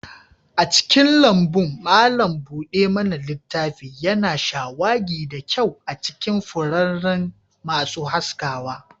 A cikin lambun, malam buɗe mana littafi yana shawagi da kyau a cikin furanni masu haskawa.